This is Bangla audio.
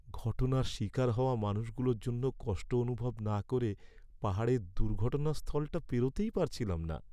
ঘটনার শিকার হওয়া মানুষগুলোর জন্য কষ্ট অনুভব না করে পাহাড়ের দুর্ঘটনাস্থলটা পেরোতেই পারছিলাম না।